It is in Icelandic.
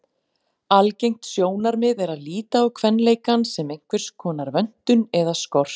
Algengt sjónarmið er að líta á kvenleikann sem einhverskonar vöntun eða skort.